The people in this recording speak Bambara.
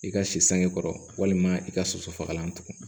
I ka si sange kɔrɔ walima i ka soso fagalan tugun